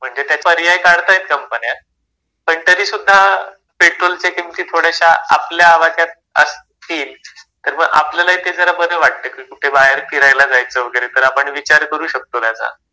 म्हणजे ते पर्याय काढतायेत कंपन्या, पण तरीसुद्धा पेट्रोलच्या किमती थोड्याशा आपल्या आवाक्यात असतील तर मग आपल्यालाही ते जरा बरं वाटतं कि कुठे बाहेर फिरायला जायचं वगैरे तर आपण विचार करू शकतो त्याचा.